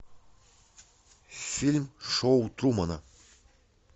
фильм шоу трумана